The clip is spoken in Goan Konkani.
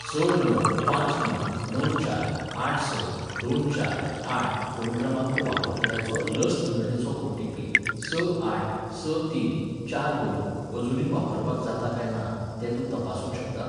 स णव पांच णव णव चार आठ स दोन चार आठ फोन क्रमांक वापरतल्याचो लस नोंदणेचो ओटीपी स आठ स तीन चार दोन अजूनय वापरपाक जाता काय ना तें तूं तपासूंक शकता?